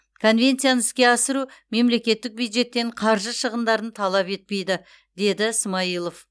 конвенцияны іске асыру мемлекеттік бюджеттен қаржы шығындарын талап етпейді деді смайылов